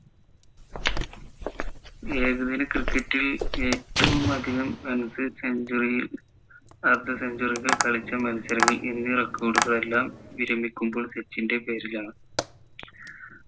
ഏകദിന cricket ൽ ഏറ്റവും അധികം runs century അർദ്ധ century കൾ കളിച്ച മത്സരങ്ങൾ എന്നീ record കൾ എല്ലാം വിരമിക്കുമ്പോൾ സച്ചിൻ്റെ പേരിലാണ്